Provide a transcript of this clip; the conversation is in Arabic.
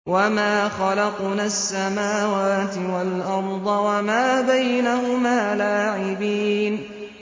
وَمَا خَلَقْنَا السَّمَاوَاتِ وَالْأَرْضَ وَمَا بَيْنَهُمَا لَاعِبِينَ